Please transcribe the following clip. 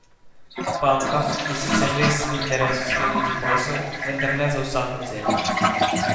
Bankam je sicer res v interesu skleniti posel, vendar ne za vsako ceno.